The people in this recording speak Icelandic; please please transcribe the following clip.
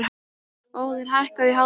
Óðinn, hækkaðu í hátalaranum.